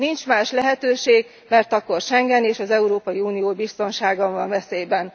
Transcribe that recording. Nincs más lehetőség, mert akkor Schengen és az Európai Unió biztonsága van veszélyben.